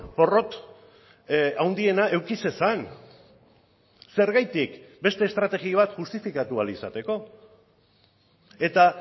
porrot handiena eduki zezan zergatik beste estrategia bat justifikatu ahal izateko eta